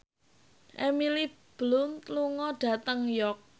Emily Blunt lunga dhateng York